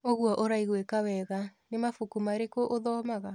ũguo ũraigwĩka wega. Nĩ mabuku marĩkũ ũthomaga?